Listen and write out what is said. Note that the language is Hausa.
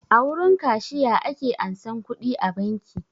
A wurin kashiya ake ansan kuɗi a banki